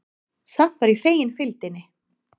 Samt var ég fegin fylgdinni.